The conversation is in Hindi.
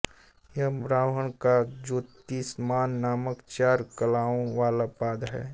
यह ब्रह्म का ज्योतिष्मान नामक चार कलाओं वाला पाद है